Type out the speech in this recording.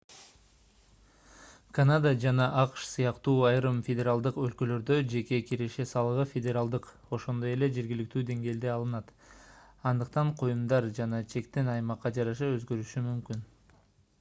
канада жана акш сыяктуу айрым федералдык өлкөлөрдө жеке киреше салыгы федералдык ошондой эле жергиликтүү деңгээлде алынат андыктан коюмдар жана чектер аймакка жараша өзгөрүшү мүмкүн